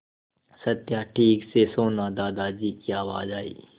सत्या ठीक से सोना दादाजी की आवाज़ आई